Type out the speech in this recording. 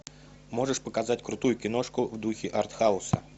можешь показать крутую киношку в духе артхауса